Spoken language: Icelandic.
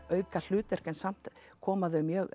auka hlutverk en samt koma þau mjög